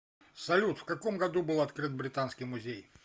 салют в каком году был открыт британский музей